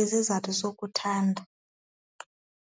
izizathu sokuthandana.